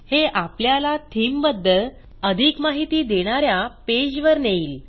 हे आपल्याला थीम बद्दल अधिक माहिती देणा या पेजवर नेईल